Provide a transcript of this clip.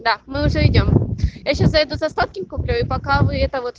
да мы уже идём я сейчас зайду за сладким куплю и пока вы это вот